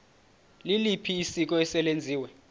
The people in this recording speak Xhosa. liliphi isiko eselenziwe